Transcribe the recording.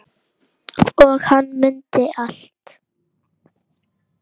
Og hann mundi allt.